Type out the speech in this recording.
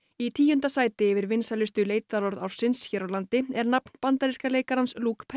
í tíunda sæti yfir vinsælustu leitarorð ársins hér á landi er nafn bandaríska leikarans